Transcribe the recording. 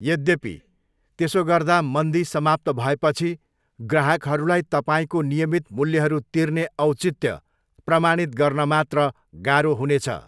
यद्यपि, त्यसो गर्दा मन्दी समाप्त भएपछि ग्राहकहरूलाई तपाईँको नियमित मूल्यहरू तिर्ने औचित्य प्रमाणित गर्न मात्र गाह्रो हुनेछ।